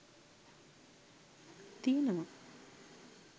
තියෙනවා.